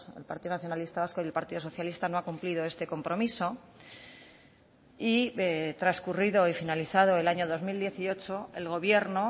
el partido nacionalista vasco y el partido socialista no ha cumplido este compromiso y transcurrido y finalizado el año dos mil dieciocho el gobierno